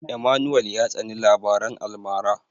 Emmanuel ya tsani labaran almara.